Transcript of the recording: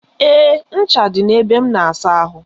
Ee, ncha dị na ebe m na-asa ahụ.